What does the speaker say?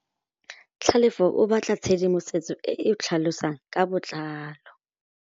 Tlhalefô o batla tshedimosetsô e e tlhalosang ka botlalô.